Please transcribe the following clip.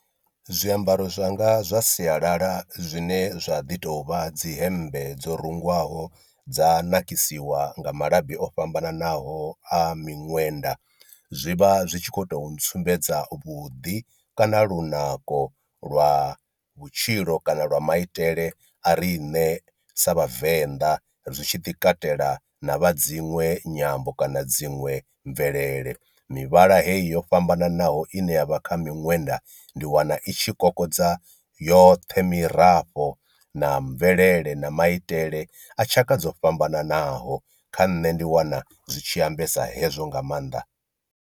Zwiambaro zwanga zwa sialala zwine zwa ḓi tou vha dzi hembe dzo rungwaho dza nakisiwa nga malabi o fhambananaho a miṅwenda, zwi vha zwi tshi khou tou ntsumbedza vhuḓi kana lunako lwa vhutshilo kana lwa maitele a ri ṋe sa vhavenḓa ri tshi ḓi katela na vha dzinwe nyambo kana dziṅwe mvelele, mivhala heyi yo fhambananaho ine ya vha kha miṅwenda ṅwenda ndi wana i tshi kokodza yoṱhe mirafho na mvelele na maitele a tshaka dzo fhambananaho kha nṋe ndi wana zwi tshi ambesa hezwo nga maanḓa.